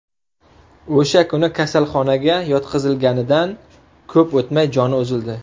O‘sha kuni, kasalxonaga yotqizilganidan ko‘p o‘tmay, joni uzildi.